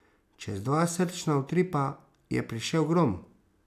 Čez dva srčna utripa je prišel grom.